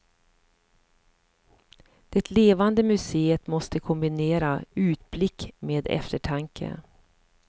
Det levande museet måste kombinera utblick med eftertanke.